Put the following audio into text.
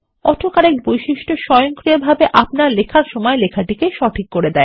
auto correct বৈশিষ্ট্য স্বয়ংক্রিয়ভাবে আপনার লেখার সময় লেখাটিকে সঠিক করে